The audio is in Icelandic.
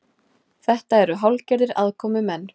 Þetta eru hálfgerðir aðkomumenn